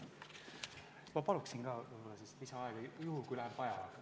Ma palun ka lisaaega juhuks, kui läheb vaja.